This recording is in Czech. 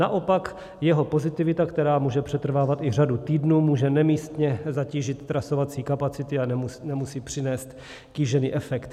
Naopak jeho pozitivita, která může přetrvávat i řadu týdnů, může nemístně zatížit trasovací kapacity a nemusí přinést kýžený efekt.